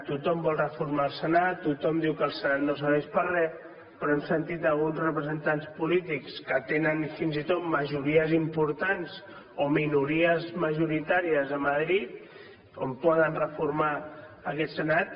tothom vol reformar el senat tothom diu que el senat no serveix per a re però hem sentit alguns representants polítics que tenen fins i tot majories importants o minories majoritàries a madrid on poden reformar aquest senat